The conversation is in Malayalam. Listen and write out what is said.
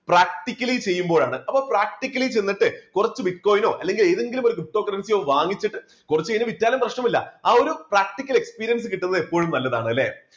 practically ചെയ്യുമ്പോഴാണ് അപ്പോൾ practically ചെന്നിട്ട് കുറച്ചു bitcoin നോ അല്ലെങ്കിൽ ഏതെങ്കിലും ഒരു criptocurrency വാങ്ങിച്ചിട്ട് കുറച്ചുകഴിഞ്ഞ് വിറ്റാലും പ്രശ്നമില്ല ആ ഒരു practical experience കിട്ടുന്നത് എപ്പോഴും നല്ലതാണ് അല്ലേ?